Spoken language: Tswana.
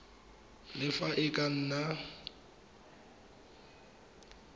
le fa e ka nna